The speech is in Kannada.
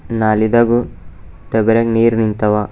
ನಾಲಿದಾಗು ಬರೆ ನೀರ್ ನಿಂತವ.